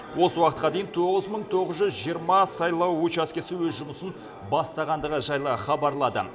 осы уақытқа дейін тоғыз мың тоғыз жүз жиырма сайлау учаскесі өз жұмысын бастағандығы жайлы хабарлады